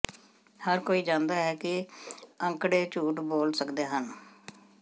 ਹਰ ਕੋਈ ਜਾਣਦਾ ਹੈ ਕਿ ਅੰਕੜੇ ਝੂਠ ਬੋਲ ਸਕਦੇ ਹਨ